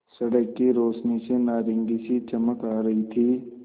सड़क की रोशनी से नारंगी सी चमक आ रही थी